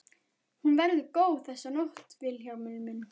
Hún verður góð þessi nótt Vilhjálmur minn.